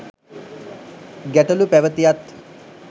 ගැටලු පැවැතියත්